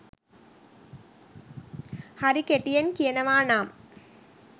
හරි කෙටියෙන් කියනවා නම්